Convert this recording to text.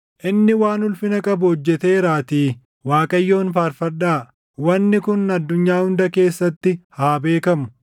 Inni waan ulfina qabu hojjeteeraatii Waaqayyoon faarfadhaa; wanni kun addunyaa hunda keessatti haa beekamu.